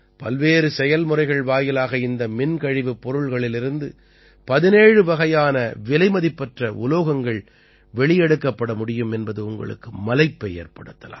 பல்வேறு செயல்முறைகள் வாயிலாக இந்த மின்கழிவுப் பொருட்களிலிருந்து 17 வகையான விலைமதிப்பற்ற உலோகங்கள் வெளியெடுக்கப்பட முடியும் என்பது உங்களுக்கு மலைப்பை ஏற்படுத்தலாம்